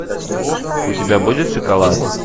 у тебя будет шоколад